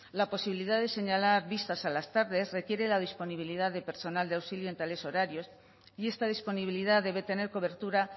la posibilidad de señalar vistas a las tardes requiere la disponibilidad de personal de auxilio en tales horarios y esta disponibilidad debe tener cobertura